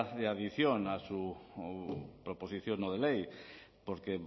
de adición a su proposición no de ley porque